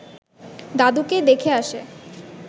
দাদুকে দেখে আসে